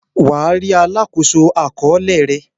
Wà á rí “ alákòóso àkọọ́lẹ̀” rẹ.